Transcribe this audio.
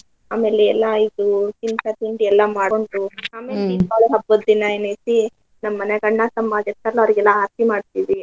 ಆಮೇಲೆ ಎಲ್ಲಾ ಇದು ತಿನ್ಸ, ತಿಂಡಿ ಎಲ್ಲ ಮಾಡ್ಕೊಂಡು ಅಮೇಲ್ ದೀಪಾವಳಿ ಹಬ್ಬದ್ ದಿನಾ ಏನೈತಿ ನಮ್ ಮನ್ಯಾಗ ಅಣ್ಣ ತಮ್ಮ ಅದ್ ಇರ್ತಾರಲ್ಲ ಅವ್ರೀಗ್ ಎಲ್ಲಾ ಆರ್ತಿ ಮಾಡ್ತೀವಿ.